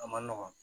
A ma nɔgɔn